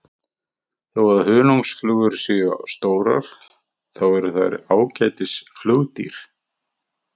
þó að hunangsflugur séu stórar þá eru þær ágætis flugdýr